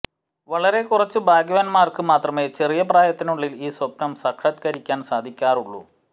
വളരെ കുറച്ച് ഭാഗ്യവാന്മാർക്ക് മാത്രമേ ചെറിയ പ്രായത്തിനുള്ളിൽ ഈ സ്വപ്നം സാക്ഷാത്കരിക്കാൻ സാധിക്കാറുള്ളൂ